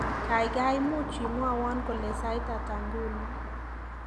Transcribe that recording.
Gaigai muuch imwowon kole sait hata nguno